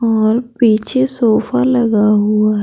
हमारे पीछे सोफा लगा हुआ है।